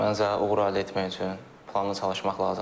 Mən zə uğur əldə etmək üçün planlı çalışmaq lazımdır.